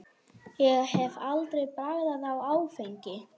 Ég hef aldrei bragðað áfengi.